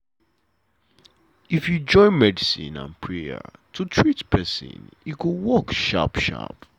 if you join medicine and prayer to treat pesin e go work sharp sharp.